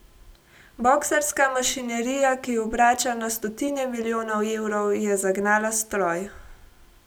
Boksarska mašinerija, ki obrača na stotine milijonov evrov, je zagnala stroj.